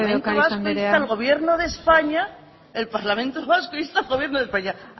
asko lópez de ocariz andrea el punto cuatro el parlamento vasco insta al gobierno de españa el parlamento vasco insta al gobierno de españa